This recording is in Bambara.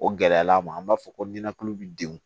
O gɛlɛya ma an b'a fɔ ko ninakili bi denw